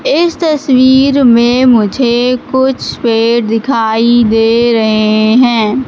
इस तस्वीर में मुझे कुछ पेड़ दिखाई दे रहे हैं।